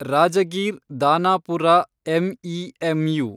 Rajgir Danapur MEMU